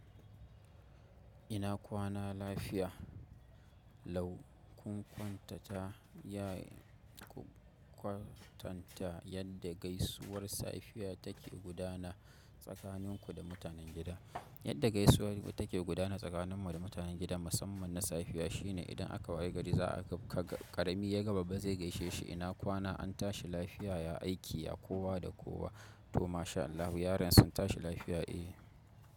Ina kwana lafiya, lau kun kwankwanta ta ya kwatanta yadda gaisuwar safiya take gudana tsakanin ku da mutanen gida. Yadda gaisuwa take gudana tsakanin mu da mutanen gidan musamman na safiya shine idan aka wayi gari za a ga ƙarami idan yaga babba zai gaishe shi ina kwana an tashi lafiya, ya aiki, ya kowa da kowa to masha Allah yaran sun tashi lafiya eh.